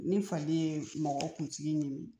Ni fali ye mɔgɔ kunsigi ɲimi